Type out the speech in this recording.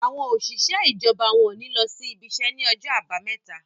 àwọn òṣìṣẹ́ ijọba wón ní ló ibise ní Ọjọ́ Àbàmẹ́ta